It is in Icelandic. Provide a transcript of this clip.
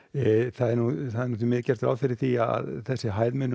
það er ekki gert ráð fyrir því að þessi hæð muni